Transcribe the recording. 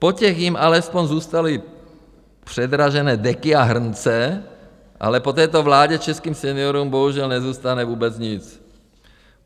- Po těch jim alespoň zůstaly předražené deky a hrnce, ale po této vládě českým seniorům bohužel nezůstane vůbec nic.